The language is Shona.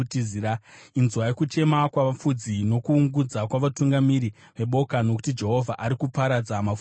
Inzwai kuchema kwavafudzi, kuungudza kwavatungamiri veboka, nokuti Jehovha ari kuparadza mafuro avo.